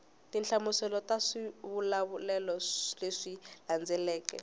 tinhlamuselo ta swivulavulelo leswi landzelaka